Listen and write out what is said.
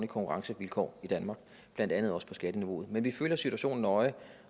konkurrencevilkår i danmark blandt andet også til skatteniveauet men vi følger situationen nøje